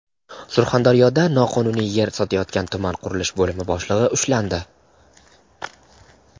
Surxondaryoda noqonuniy yer sotayotgan tuman qurilish bo‘limi boshlig‘i ushlandi.